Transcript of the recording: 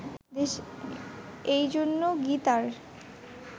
এই জন্য গীতার